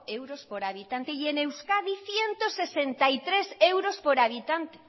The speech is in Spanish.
euros por habitante y en euskadi ciento sesenta y tres euros por habitante